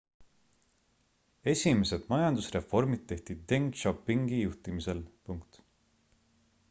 esimesed majandusreformid tehti deng xiaopingi juhtimisel